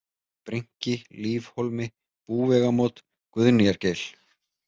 Brynki, Lífhólmi, Búvegamót, Guðnýjargeil